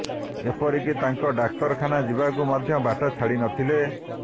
ଏପରିକି ତାଙ୍କୁ ଡାକ୍ତରଖାନା ଯିବାକୁ ମଧ୍ୟ ବାଟ ଛାଡି ନଥିଲେ